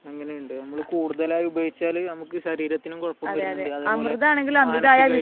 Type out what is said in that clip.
അങ്ങനെയുണ്ട് നമ്മൾ കൂടുതലായി ഉപയോഗിച്ചാൽ നമുക്ക് ശരീരത്തിനു കുഴപ്പം വരുന്നുണ്ട്, അതുപോലെ മാനസികമായിട്ടും